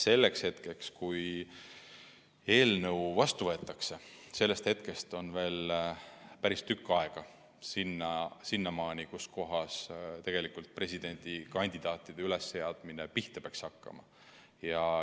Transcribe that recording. Sellest hetkest, kui eelnõu heaks kiidetakse, on veel päris tükk aega sinnamaani, kui presidendikandidaatide ülesseadmine pihta peaks hakkama.